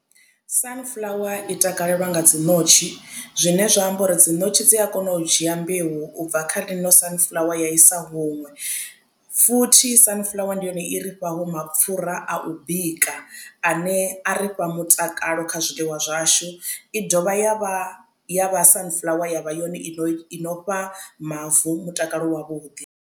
Sunflower i takalelwa nga dzi ṋotshi zwine zwa amba uri dzi ṋotshi dzi a kona u dzhia mbeu u bva kha ḽino sunflower ya i sa huṅwe futhi sunflower ndi yone i ri fha ho mapfhura a u bika ane a ri fha mutakalo kha zwiḽiwa zwashu i dovha ya vha ya vha sunflower yavha yone i no fha mavu mutakalo wavhuḓi.